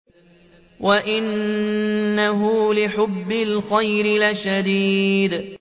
وَإِنَّهُ لِحُبِّ الْخَيْرِ لَشَدِيدٌ